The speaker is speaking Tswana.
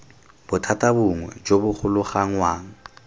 bothata bongwe jo bo golaganngwang